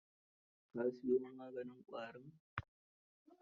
Ka siyo maganin ƙwarin?